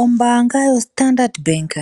Ombaanga yoStandard Bank